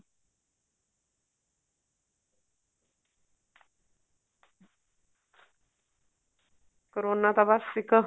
corona ਤਾਂ ਬੱਸ ਇੱਕ